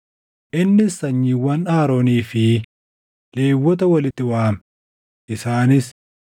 Innis sanyiiwwan Aroonii fi Lewwota walitti waame; isaanis: